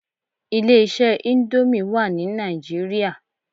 Ilé iṣẹ́ íńdómì wà ní Nàìjíríà.